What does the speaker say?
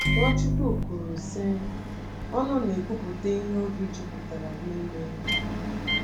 NwaChukwu kwuru, sị: “Ọnụ na-ekwupụta ihe obi jupụtara n’ime ya.”